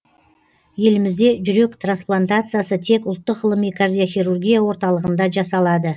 елімізде жүрек трансплантациясы тек ұлттық ғылыми кардиохирургия орталығында жасалады